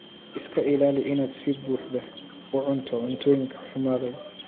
Iska ilaali inaad si buuxda u cunto cuntooyinka xumaaday.